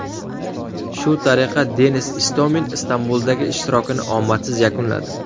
Shu tariqa, Denis Istomin Istanbuldagi ishtirokini omadsiz yakunladi.